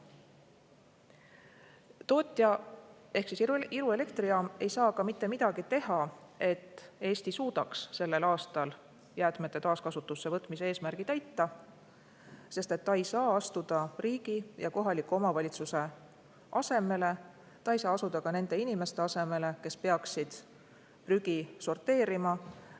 Tootja ehk Iru elektrijaam ei saa ka mitte midagi teha, et Eesti suudaks sellel aastal jäätmete taaskasutusse võtmise eesmärgi täita, sest ta ei saa asuda riigi ja kohaliku omavalitsuse asemele, ta ei saa asuda ka nende inimeste asemele, kes peaksid prügi sorteerima.